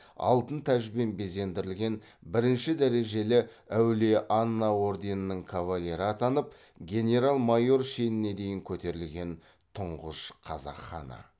алтын тәжбен безендірілген бірінші дәрежелі әулие анна орденінің кавалері атанып генерал майор шеніне дейін көтерілген тұңғыш қазақ ханы